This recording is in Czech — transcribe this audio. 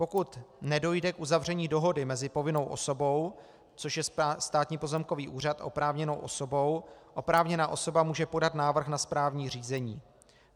Pokud nedojde k uzavření dohody mezi povinnou osobou, což je Státní pozemkový úřad, a oprávněnou osobou, oprávněná osoba může podat návrh na správní řízení.